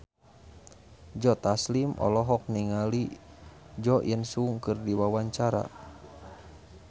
Joe Taslim olohok ningali Jo In Sung keur diwawancara